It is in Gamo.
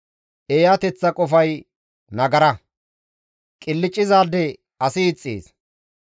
Eeyateththa qofay nagara; qilccizaade asi ixxees.